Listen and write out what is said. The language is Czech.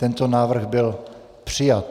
Tento návrh byl přijat.